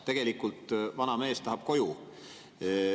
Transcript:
Tegelikult vana mees tahab koju.